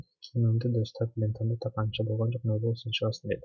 киімімді дұрыстап лентамды таққанымша болған жоқ нұрбол сен шығасың деді